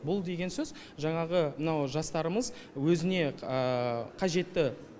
бұл деген сөз жанағы мынау жастарымыз өзіне қажетті